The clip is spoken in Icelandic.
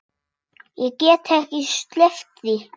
Ég get ekki sleppt því.